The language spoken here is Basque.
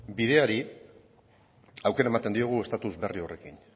bideari aukera ematen diogu estatus berri horrekin